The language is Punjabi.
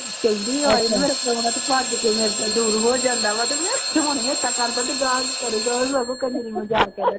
ਕਹਿੰਦੀ ਹਾਏ ਮੇਰਾ ਭੱਜ ਕੇ ਮੇਰਾ ਤਾਂ ਹੋ ਜਾਂਦਾ ਵਾ, ਅਤੇ ਮੈਂ ਹੁਣੀ ਏਦਾਂ ਕਰਦਾ ਅਤੇ ਅਗਾਂਹ ਕੀ ਕਰੂਗਾ, ਉਹਨੂੰ ਲੱਗਦਾ ਖਨੀ ਮਜ਼ਾਕ ਕਰਨ